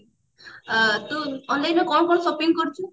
ଆଁ ତୁ online କଣ କଣ shopping କରୁଛୁ